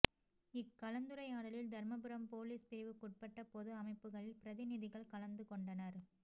இக் கலந்துரையாடலில் தர்மபுரம் பொலீஸ் பிரிவுக்குட்பட்ட பொது அமைப்புகளின் பிரதிநிதிகள் கலந்துகொண்டனர்